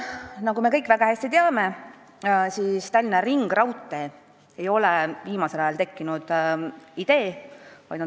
" Nagu me kõik väga hästi teame, Tallinna ringraudtee ei ole viimasel ajal tekkinud idee.